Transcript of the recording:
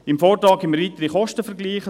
Im Vortrag hat es weitere Kostenvergleiche.